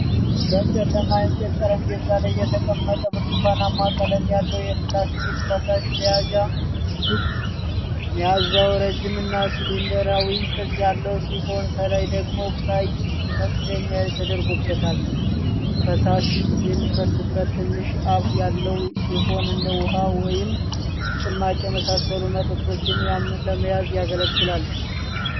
በጨለማ የእንጨት ጠረጴዛ ላይ የተቀመጠ ብርቱካናማ ቀለም ያለው የፕላስቲክ ፈሳሽ መያዣ (ጁግ)።መያዣው ረዥም እና ሲሊንደራዊ ቅርጽ ያለው ሲሆን፣ ከላይ ደግሞ ቀይ መክደኛ ተደርጎበታል። ፈሳሽ የሚፈስበት ትንሽ አፍ ያለው ሲሆን እንደ ውኃ ወይም ጭማቂ የመሳሰሉ መጠጦችን ለመያዝ ያገለግላል።